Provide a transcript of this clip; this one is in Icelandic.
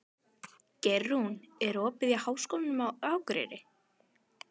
Geirrún, er opið í Háskólanum á Akureyri?